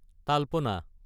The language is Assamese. তালপনা